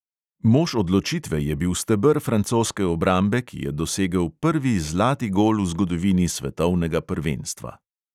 Mož odločitve je bil steber francoske obrambe, ki je dosegel prvi zlati gol v zgodovini svetovnega prvenstva.